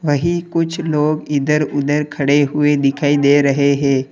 यही कुछ लोग इधर उधर खड़े हुए दिखाई दे रहे हैं।